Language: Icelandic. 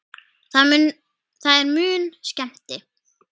Það er mun skemmti